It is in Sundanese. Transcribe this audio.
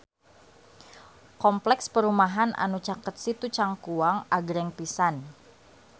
Kompleks perumahan anu caket Situ Cangkuang agreng pisan